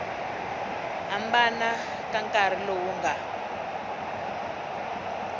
hambana ka nkarhi lowu nga